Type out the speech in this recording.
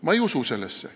Ma ei usu sellesse.